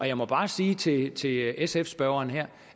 jeg må bare sige til til sf spørgeren her